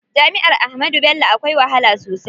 Jami'ar Ahmadu Bello akwai wahala sosai.